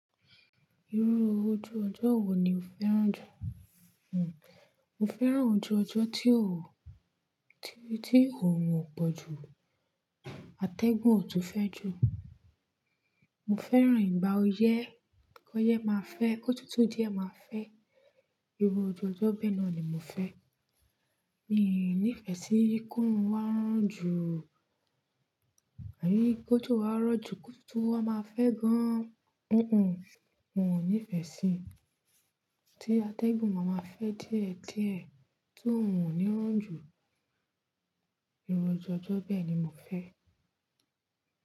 Irú ojú ọjọ́ wo ni o fẹ́ràn jù? Mo fẹ́ràn ojú ọjọ́ tí ó, tí, tí òórùn ò pọ̀ jù, atẹ́gùn ò tun fẹ́ jù. Mo fẹ́ràn ìgbà oyẹ́, kí ọyẹ́ máa fẹ́, kó tútù díẹ̀ máa fẹ́. Irú ojú ọjọ́ bẹ́ẹ̀ náà ni mo fẹ́. Mi ní ìfẹ́ sí kó òórùn wá jù, àní kójo wá rọ̀ jù, kó tútù wá máa fẹ́ gan. N ò ní ìfẹ́ sí ti atẹ́gùn máa ma fẹ́ díẹ̀, díẹ̀ tí òórùn ò ní rọ̀ jù. Irú ojú ọjọ́ bẹ́ẹ̀ ni mo fẹ́.